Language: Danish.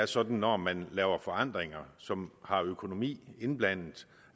sådan når man laver forandringer som har økonomi indblandet